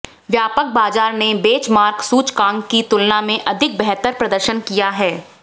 व्यापक बाजार ने बेंचमार्क सूचकांक की तुलना में अधिक बेहतर प्रदर्शन किया है